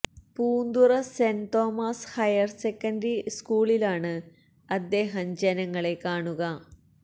Poonthura saint Thomas higher secondary സ്കൂളിലാണ് അദ്ദേഹം ജനങ്ങളെ കാണുക